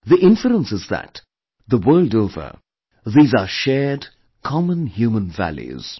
The inference is that the world over, these are shared, common human values